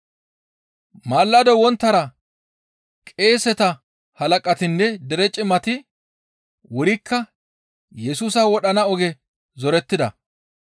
Maalado wonttara qeeseta halaqatinne dere cimati wurikka Yesusa wodhana oge zorettida.